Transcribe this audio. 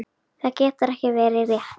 Það getur ekki verið rétt.